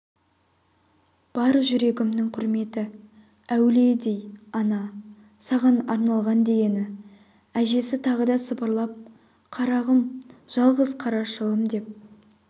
бар жүрегімнің құрметі әулиедей ана саған арналған дегені әжесі тағы да сыбырлап қарағым жалғыз қарашығым деп